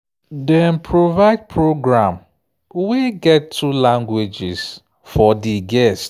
dem provide program wey get two languages for the guests.